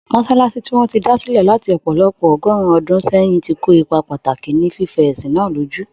Mọ́sálásí tí wọ́n ti dá sílẹ̀ láti ọ̀pọ̀lọpọ̀ ọgọ́rùn-ún ọdún sẹ́yìn, ti kó ipa pàtàkì ní fífẹ ẹ̀sìn náà lójú.